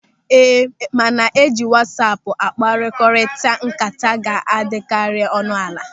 Ee, mana ịji wasaapu akpakọrilịta ńkata ga-adịkarị ọnụ ala.